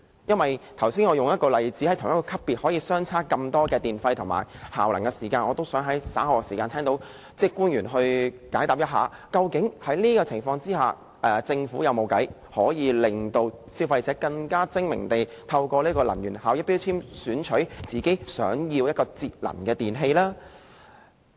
在我剛才舉出的例子中，屬同一級別能源標籤的電器，電費及效能可以相差這麼多，我也希望稍後聽到官員解答，究竟在這個情況下，政府有否方法可以令消費者更精明地透過能源標籤選購節能的電器。